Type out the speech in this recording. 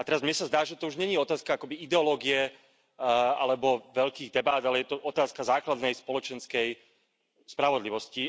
A teraz mne sa zdá, že to už nie je otázka akoby ideológie alebo veľkých debát, ale je otázka základnej spoločenskej spravodlivosti.